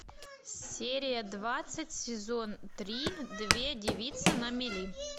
серия двадцать сезон три две девицы на мели